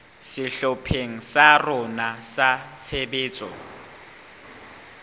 sehlopheng sa rona sa tshebetso